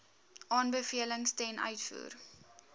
aanbevelings ten uitvoer